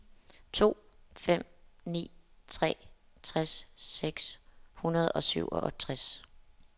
to fem ni tre tres seks hundrede og syvogtres